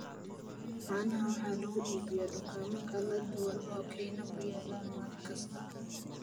Caanaha waxaa lagu iibiyaa dukaamo kala duwan oo Kenya ku yaala maalin kasta.